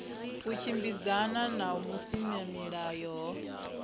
u tshimbidzana na vhusimamilayo ho